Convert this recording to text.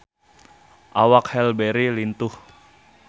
Awak Halle Berry lintuh